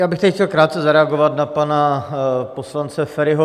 Já bych tady chtěl krátce zareagovat na pana poslance Feriho.